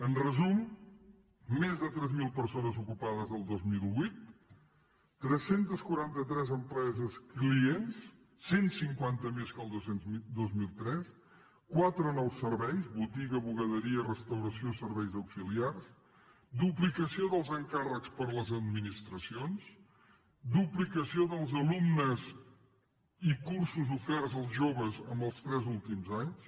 en resum més de tres mil persones ocupades el dos mil vuit tres cents i quaranta tres empreses clients cent cinquanta més que el dos mil tres quatre nous serveis botiga bugaderia restauració serveis auxiliars duplicació dels encàrrecs per a les administracions duplicació dels alumnes i cursos oferts als joves en els tres últims anys